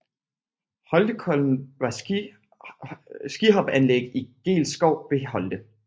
Holtekollen var et skihopanlæg i Geels Skov ved Holte